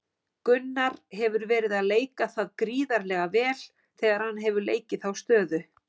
Gunnar hefur verið að leika það gríðarlega vel þegar hann hefur leikið þá stöðu.